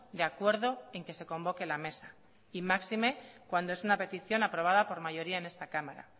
de acuerdo en que se convoque la mesa y máxime cuando es una petición aprobada por mayoría en esta cámara